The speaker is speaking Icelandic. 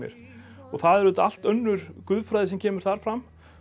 það er auðvitað allt önnur guðfræði sem kemur þar fram